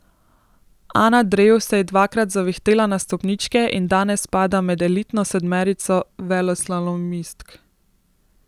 Ana Drev se je dvakrat zavihtela na stopničke in danes spada med elitno sedmerico veleslalomistk.